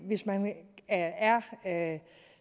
hvis man er